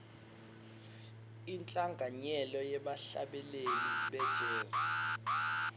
inhlanganyelo yebahlabeleli be jazz